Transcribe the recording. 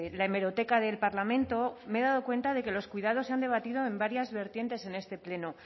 la hemeroteca del parlamento me he dado cuenta de que los cuidados se han debatido en varias vertientes en este pleno